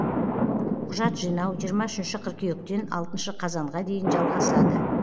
құжат жинау жиырма үшінші қыркүйектен алтыншы қазанға дейін жалғасады